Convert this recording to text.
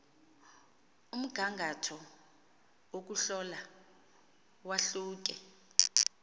umgangatho wokuhlola wahluke